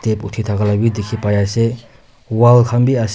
Step uthi taka la bhi dekhi pai ase wall khan bhi as --